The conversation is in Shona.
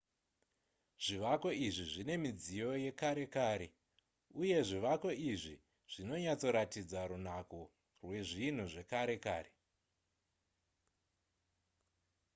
zvivako izvi zvine midziyo yekare kare uye zvivako izvi zvinonyatsoratidza runako rwezvinhu zvekare kare